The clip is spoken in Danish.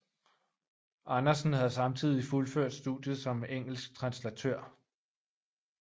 Andersen havde samtidig fuldført studiet som engelsk translatør